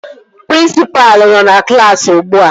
Prịnsịpalụ nọ na klaasị ugbua